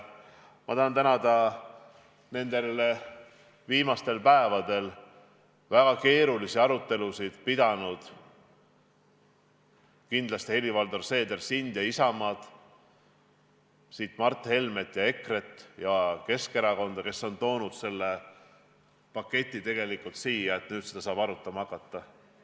Ma tahan tänada nendel viimastel päevadel väga keerulisi arutelusid pidanud Helir-Valdor Seederit ja Isamaad, Mart Helmet ja EKRE-t ning Keskerakonda, kes kõik on tegelikult toonud selle paketi siia, et seda saaks nüüd arutama hakata.